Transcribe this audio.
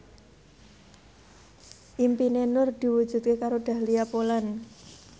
impine Nur diwujudke karo Dahlia Poland